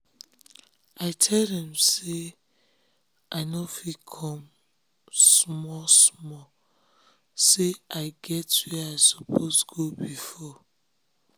i tell dem say um i nor um fit come small small say i get where i suppose go before.